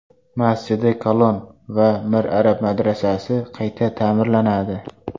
Masjidi Kalon va Mir Arab madrasasi qayta ta’mirlanadi.